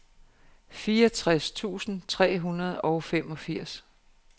fireogtres tusind tre hundrede og femogfirs